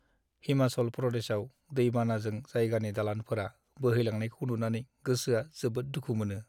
हिमाचल प्रदेशआव दै-बानाजों जायगानि दालानफोरा बोहैलांनायखौ नुनानै गोसोआ जोबोद दुखु मोनो।